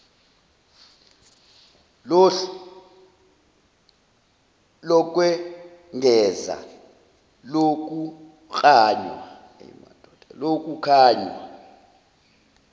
lohlu lokwengeza lokuklanywa